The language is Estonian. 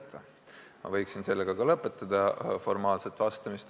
Formaalselt vastates ma võiksin sellega vastuse lõpetada.